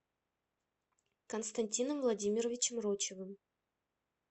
константином владимировичем рочевым